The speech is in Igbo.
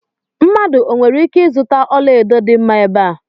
Mmadụ o nwere ike ịzụta ọla edo dị mma ebe a?